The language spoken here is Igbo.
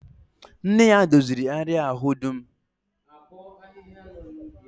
Nne ya doziri àrịá ahụ dum